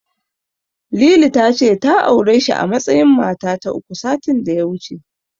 Lili ta ce ta aure shi a matsayin mata ta uku, satin da ya wuce.